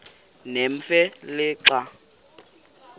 nemfe le xa